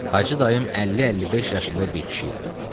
Hacı dayım 50-55 yaşında bir kişi idi.